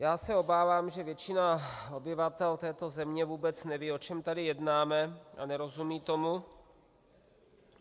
Já se obávám, že většina obyvatel této země vůbec neví, o čem tady jednáme, a nerozumí tomu.